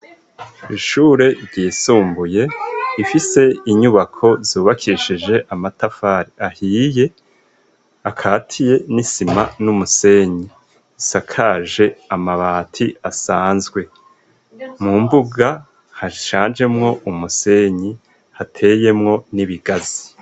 Ishure ryisumbuye ifise inyubako zubakishije amatafari ahiye akatiye n'isima n'umusenyi isakaje amabati asanzwe mu mbuga hashajemwo umusenyi hateyemwo n'ibigazi.